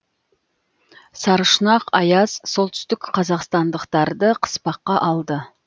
сарышұнақ аяз солтүстік қазақстандықтарды қыспаққа алды